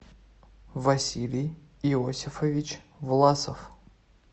василий иосифович власов